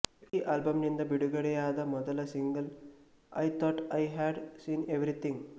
ಈ ಆಲ್ಬಂನಿಂದ ಬಿಡುಗಡೆಯಾದ ಮೊದಲ single I thought I had seen everything